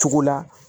Cogo la